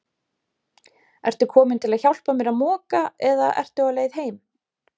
Ertu kominn til að hjálpa mér að moka eða ertu á leið heim?